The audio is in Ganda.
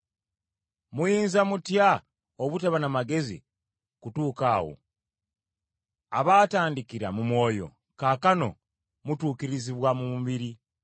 Muyinza mutya obutaba na magezi kutuuka awo, abaatandikira mu Mwoyo, kaakano mutuukirizibwa mu mubiri?